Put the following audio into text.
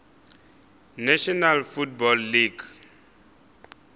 national football league